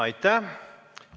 Aitäh!